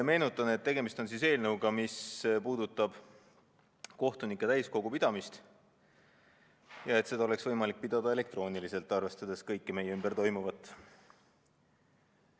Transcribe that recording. Meenutan, et tegemist on eelnõuga, mis puudutab kohtunike täiskogu pidamist ning seda, et istungit oleks võimalik pidada elektrooniliselt, arvestades kõike meie ümber toimuvat.